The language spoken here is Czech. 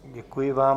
Děkuji vám.